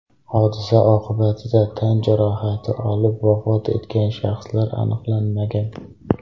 Hodisa oqibatida tan jarohati olib vafot etgan shaxslar aniqlanmagan.